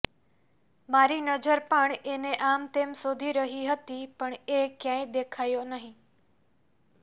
મારી નજર પણ એને આમતેમ શોધી રહી હતી પણ એ ક્યાંય દેખાયો નહિ